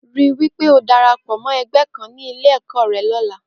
Rí wí pé o darapọ̀ mọ́ ẹgbẹ́ kan ní Ilé-ẹ̀kọ́ rẹ lọ́la.